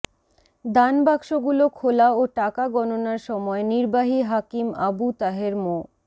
দানবাক্সগুলো খোলা ও টাকা গণনার সময় নির্বাহী হাকিম আবু তাহের মো